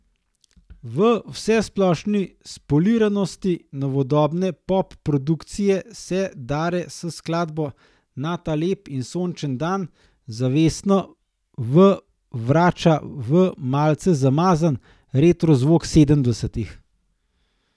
V vsesplošni spoliranosti novodobne pop produkcije se Dare s skladbo Na ta lep in sončen dan zavestno v vrača v malce zamazan, retro zvok sedemdesetih.